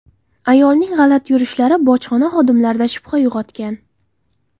Ayolning g‘alati yurishlari bojxona xodimlarida shubha uyg‘otgan.